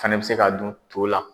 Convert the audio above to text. Fana bɛ se ka dun to la.